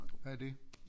Hvad er det